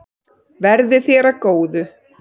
Verði þér að góðu.